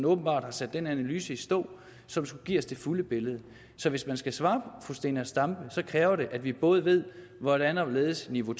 åbenbart har sat den analyse i stå som skulle give os det fulde billede så hvis man skal svare fru zenia stampe kræver det at vi både ved hvordan og hvorledes niveau